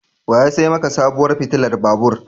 Wa ya sai maka sabuwar fitilar babur?